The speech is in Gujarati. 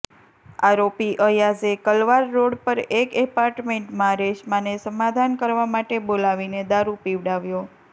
આરોપી અયાઝે કલવાર રોડ પર એક એપાર્ટમેન્ટમાં રેશમાને સમાધાન કરવા માટે બોલાવીને દારુ પીવડાવ્યો